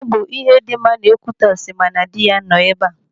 Ọ bụ ihe dị mma na Ekwitọsị ma na dị ya nọ ebe.